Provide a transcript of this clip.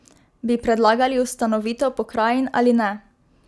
Bi predlagali ustanovitev pokrajin ali ne?